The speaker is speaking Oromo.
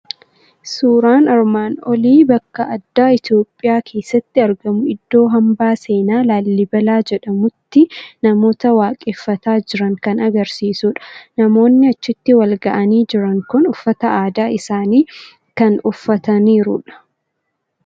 Suuraan armaan olii bakka addaa Itoophiyaa keessatti argamu, iddoo Hambaa seenaa Laallibelaa jedhamutti namoota waaqeffataa jiran kan agarsiisuu dha. Namoonni achitti wal ga'anii jiran kun uffata aadaa isaanii kan uffataniiru dha.